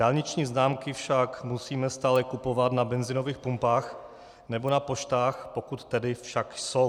Dálniční známky však musíme stále kupovat na benzinových pumpách nebo na poštách, pokud tedy však jsou.